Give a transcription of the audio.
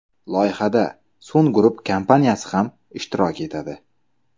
Loyihada Sun Group kompaniyasi ham ishtirok etadi.